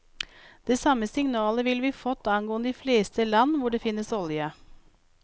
Det samme signalet ville vi fått angående de fleste land hvor det finnes olje.